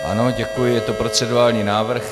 Ano, děkuji, je to procedurální návrh.